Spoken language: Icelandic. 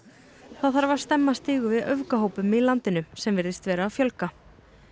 þá þarf að stemma stigu við öfgahópum í landinu sem virðist vera að fjölga